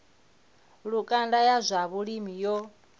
lukanda ya zwa vhulimi yo